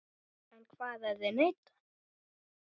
En hvað ef þeir neita?